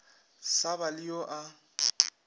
sa ba le yo a